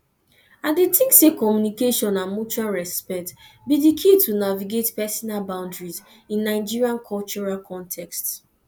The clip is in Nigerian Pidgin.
i dey think say communication and mutual respect be di key to navigate personal boundaries in nigerian cultural contexts